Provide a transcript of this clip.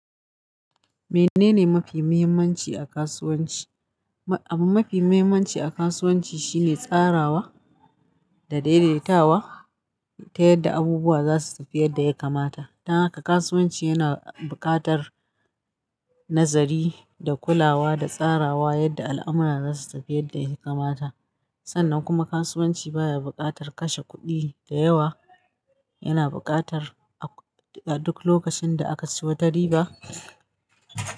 Menene mafi muhimmanci a kasuwanci? Abin mafi muhimmanci a kasuwanci shine tsarawa da daidaitawa ta yadda abubuwa za su tafi yadda ya kamata. Don haka kasuwanci yana buƙatar nazari da kulawa da tsarawa yadda al'amura za su tafi yadda ya kamata. Sannan kuma kasuwanci baya buƙatar kashe kuɗi da yawa. Yana buƙatar a duk lokacin da aka siyo da riba.